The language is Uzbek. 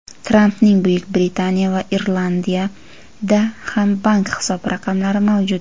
Trampning Buyuk Britaniya va Irlandiyada ham bank hisob raqamlari mavjud.